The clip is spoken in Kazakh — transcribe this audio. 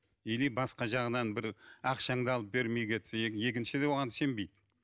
или басқа жағынан бір ақшаңды алып бермей кетсе екіншіде оған сенбейді